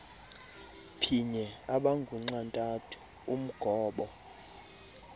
phinye abangunxantathu umgobo